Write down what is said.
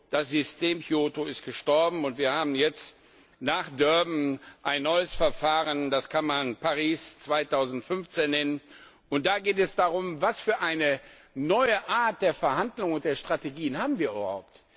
Das System Kyoto ist gestorben, und wir haben jetzt nach Durban ein neues Verfahren, das kann man Paris 2015 nennen, und da geht es darum Welche neue Art der Verhandlungen und der Strategien haben wir überhaupt?